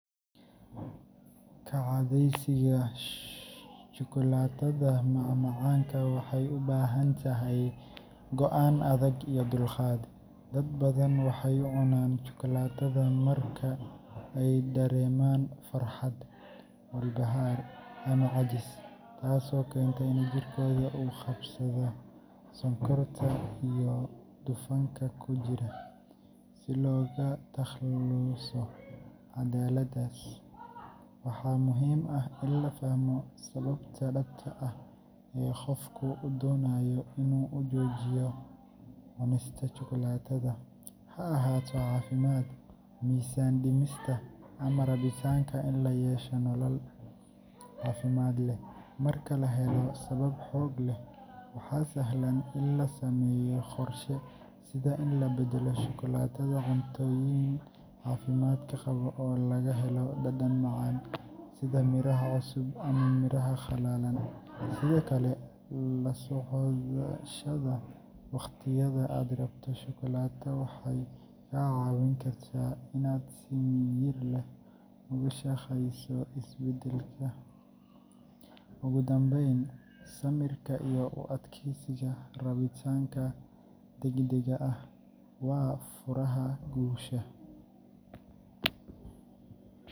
Ka cadhaysiga shukulaatada macmacaanka waxay u baahan tahay go’aan adag iyo dulqaad. Dad badan waxay u cunaan shukulaatada marka ay dareemaan farxad, walbahaar, ama caajis, taasoo keenta in jirkooda uu la qabsado sonkorta iyo dufanka ku jira. Si looga takhaluso caadadaas, waxaa muhiim ah in la fahmo sababta dhabta ah ee qofku u doonayo inuu u joojiyo cunista shukulaatada – ha ahaato caafimaad, miisaan dhimista, ama rabitaanka in la yeesho nolol caafimaad leh. Marka la helo sabab xoog leh, waxaa sahlan in la sameeyo qorshe, sida in la beddelo shukulaatada cuntooyin caafimaad qaba oo laga helo dhadhan macaan, sida miraha cusub ama miraha qallalan. Sidoo kale, la socoshada wakhtiyada aad rabto shukulaato waxay kaa caawin kartaa inaad si miyir leh uga shaqeyso isbedelka. Ugu dambeyn, samirka iyo u adkeysiga rabitaanka degdegga ah waa furaha guusha.